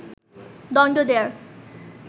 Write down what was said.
দণ্ড দেয়ার